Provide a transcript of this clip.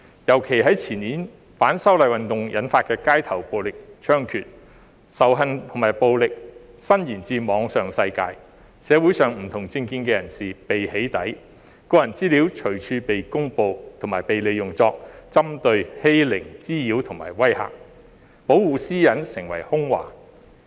尤其在前年，反修例運動引發的街頭暴力猖獗，仇恨和暴力伸延至網上世界，社會上不同政見人士被"起底"，個人資料隨處被公布及被利用作針對、欺凌、滋擾和威嚇，保護私隱成為空話。